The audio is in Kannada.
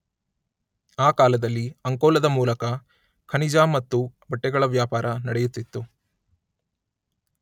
ಆ ಕಾಲದಲ್ಲಿ ಅಂಕೋಲದ ಮೂಲಕ ಖನಿಜ ಮತ್ತು ಬಟ್ಟೆಗಳ ವ್ಯಾಪಾರ ನಡೆಯುತ್ತಿತ್ತು.